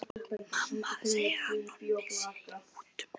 Mamma segir að Nonni sé í mútum.